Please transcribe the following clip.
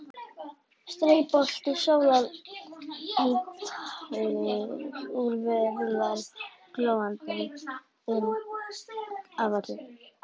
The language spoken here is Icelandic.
Straubolti sólar ýtir úr vör rúllar glóandi inn á völlinn